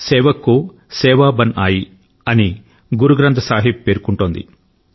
సేవక్ కో సేవా బన్ ఆయీ అని గురు గ్రంథ్ సాహిబ్ పేర్కొంటోంది